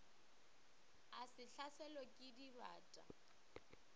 o se hlaselwe ke dibata